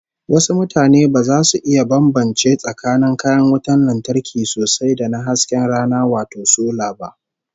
Wasu mutanen ba za su iya bambance tsakanin kayan wutar lantarkin sosai da na hasken rana wato sola ba